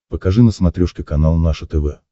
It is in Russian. покажи на смотрешке канал наше тв